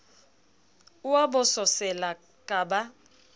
o a bososela ka ba